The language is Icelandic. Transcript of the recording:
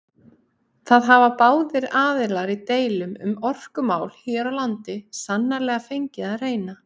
Það hafa báðir aðilar í deilum um orkumál hér á landi sannarlega fengið að reyna.